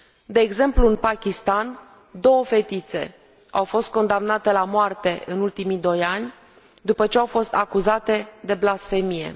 De exemplu, în Pakistan, două fetițe au fost condamnate la moarte în ultimii doi ani, după ce au fost acuzate de blasfemie.